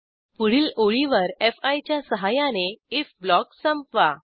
पुढील ओळीवर फी च्या सहाय्याने आयएफ ब्लॉक संपवा